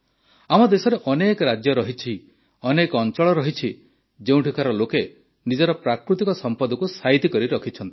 ଆମ ଦେଶରେ ଅନେକ ରାଜ୍ୟ ରହିଛି ଅନେକ ଅଂଚଳ ରହିଛି ଯେଉଁଠିକାର ଲୋକେ ନିଜର ପ୍ରାକୃତିକ ସମ୍ପଦକୁ ସାଇତି କରି ରଖିଛନ୍ତି